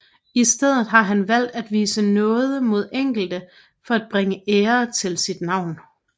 I stedet har han valgt at vise nåde mod enkelte for at bringe ære til sit navn